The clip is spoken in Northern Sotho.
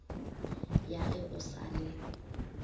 ya ge o sa le